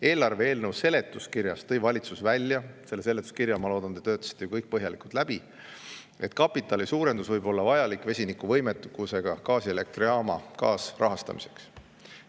Eelarve eelnõu seletuskirjas tõi valitsus välja – selle seletuskirja, ma loodan, te töötasite ju kõik põhjalikult läbi –, et see suurendus võib olla vajalik vesinikuvõimekusega gaasielektrijaama kaasrahastamiseks.